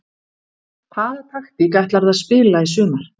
Hvaða taktík ætlarðu að spila í sumar?